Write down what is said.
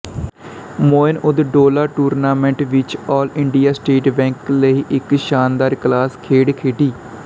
Moin-ud-Dowla tournament ਵਿਚ all India State Bank ਲਈ ਇਕ ਸ਼ਾਨਦਾਰ ਕਲਾਸ ਖੇਡ ਖੇਡੀ